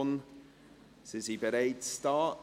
deren Vertreter sind bereits hier.